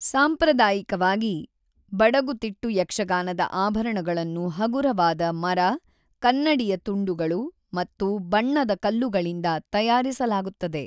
ಸಾಂಪ್ರದಾಯಿಕವಾಗಿ, ಬಡಗುತಿಟ್ಟು ಯಕ್ಷಗಾನದ ಆಭರಣಗಳನ್ನು ಹಗುರವಾದ ಮರ, ಕನ್ನಡಿಯ ತುಂಡುಗಳು ಮತ್ತು ಬಣ್ಣದ ಕಲ್ಲುಗಳಿಂದ ತಯಾರಿಸಲಾಗುತ್ತದೆ.